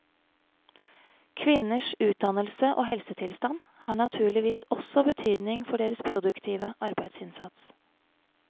Kvinners utdannelse og helsetilstand har naturligvis også betydning for deres produktive arbeidsinnsats.